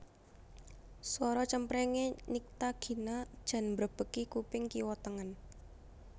Suara cempreng e Nycta Gina jan mbrebeki kuping kiwa tengen